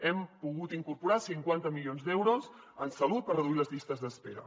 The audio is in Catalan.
hem pogut incorporar cinquanta milions d’euros en salut per reduir les llistes d’espera